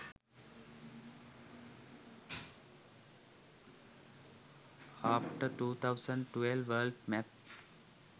after 2012 world map